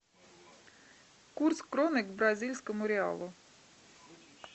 курс кроны к бразильскому реалу